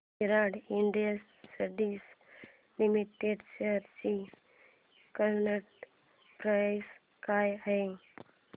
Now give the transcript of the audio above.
विराट Industries Limited shares ची current price काय आहे